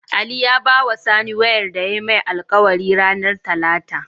Ali ya bawa sani wayar da yayi mai alkawari ranar talata